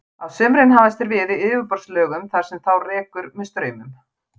Á sumrin hafast þeir við í yfirborðslögum þar sem þá rekur með straumum.